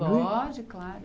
Pode, claro.